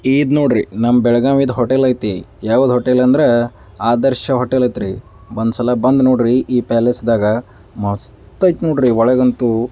ಇದ ನೋಡ್ರಿ ನಮ್ಮ ಬೆಳಗಾವಿ ದ ಹೋಟೆಲ್ ಐತಿ ಯಾವ್ದು ಹೋಟೆಲ್ ಅಂದ್ರೆ ಆದರ್ಶ ಹೋಟೆಲ್ ಐತ್ರಿ ಒಂದು ಸಲ ಬಂದ ನೋಡ್ರಿ ಈ ಪ್ಯಾಲೆಸ್ ದಗ ಮಸ್ತ ಐತಿ ನೋಡ್ರಿ ಒಳಗ್ ಅಂತೂ.